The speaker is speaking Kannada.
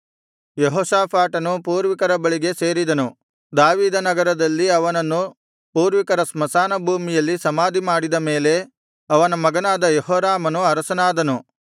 ಯೆಹೋಷಾಫಾಟನು ಪೂರ್ವಿಕರ ಬಳಿಗೆ ಸೇರಿದನು ದಾವೀದನಗರದಲ್ಲಿ ಅವನನ್ನು ಪೂರ್ವಿಕರ ಸ್ಮಶಾನ ಭೂಮಿಯಲ್ಲಿ ಸಮಾಧಿಮಾಡಿದ ಮೇಲೆ ಅವನ ಮಗನಾದ ಯೆಹೋರಾಮನು ಅರಸನಾದನು